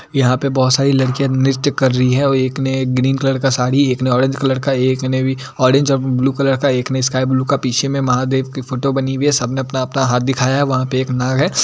यहाँ पे बहुत सारी लड़कियाँ नृत्य कर रही हैं और एक ने ग्रीन कलर का साड़ी एक ने ऑरेंज कलर का एक ने भी ऑरेंज और ब्लू कलर का एक ने स्काई ब्लू का पीछे में महादेव की फोटो बनी हुई है सबने अपना-अपना हाथ दिखया है वहाँ पे एक नाग है।